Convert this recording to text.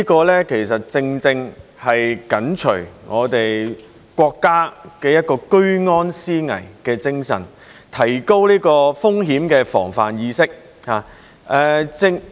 這其實正正是緊隨我們國家居安思危的精神，提高風險的防範意識。